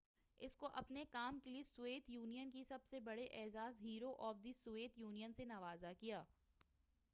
اس کو اپنے کام کے لئے سویت یونین کے سب سے بڑے اعزاز Hero of the Soviet Union سے نوازا گیا